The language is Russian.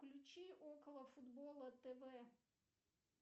включи около футбола тв